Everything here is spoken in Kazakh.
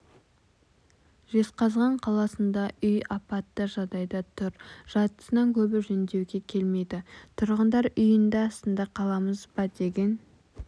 жезқазған қаласында үй апатты жағдайда тұр жартысынан көбі жөндеуге келмейді тұрғындар үйінді астында қаламыз ба деген